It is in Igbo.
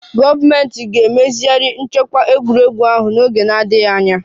Gọọmentị ga-emezigharị nchekwa egwuregwu ahụ n'oge na-adịghị anya